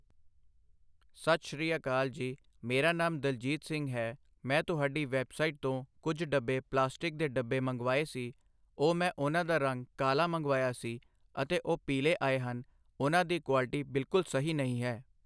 ਸਤਿ ਸ਼੍ਰੀ ਅਕਾਲ ਜੀ ਮੇਰਾ ਨਾਮ ਦਲਜੀਤ ਸਿੰਘ ਹੈ ਮੈਂ ਤੁਹਾਡੀ ਵੈੱਬਸਾਈਟ ਤੋਂ ਕੁਝ ਡੱਬੇ ਪਲਾਸਟਿਕ ਦੇ ਡੱਬੇ ਮੰਗਵਾਏ ਸੀ ਉਹ ਮੈਂ ਉਹਨਾਂ ਦਾ ਰੰਗ ਕਾਲ਼ਾ ਮੰਗਵਾਇਆ ਸੀ ਅਤੇ ਉਹ ਪੀਲ਼ੇ ਆਏ ਹਨ ਉਹਨਾਂ ਦੀ ਕੁਆਲਿਟੀ ਬਿਲਕੁਲ ਸਹੀ ਨਹੀਂ ਹੈ